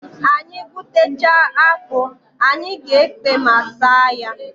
Anyị gwutechaa akpụ, anyị ga-ekpe ma saa ya.